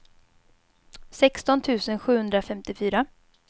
sexton tusen sjuhundrafemtiofyra